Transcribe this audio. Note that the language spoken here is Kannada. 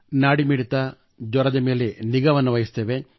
ನಾಡಿ ಮಿಡಿತ ಜ್ವರದ ಮೇಲೆ ನಿಗಾವಹಿಸುತ್ತೇವೆ